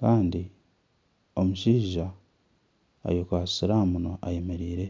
Kandi omushaija ayekwatsire aha munwa ayemereire